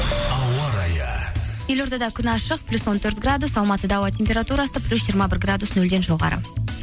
ауа райы елордада күн ашық плюс он төрт градус алматыда ауа температурасы плюс жиырма бір градус нөлден жоғары